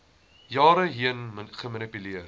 jare heen gemanipuleer